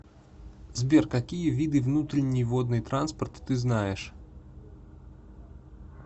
сбер какие виды внутренний водный транспорт ты знаешь